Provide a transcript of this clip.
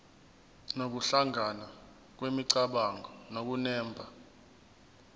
nokuhlangana kwemicabango nokunemba